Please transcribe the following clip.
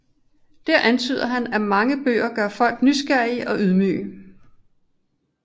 Dér antyder han at mange bøger gør folk nysgerrige og ydmyge